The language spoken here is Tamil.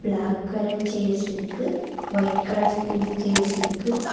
பிளாக் கலர் சேர்ஸ் இருக்கு வைட் கலர் ஸ்டீல் சேர்ஸ் இருக்கு.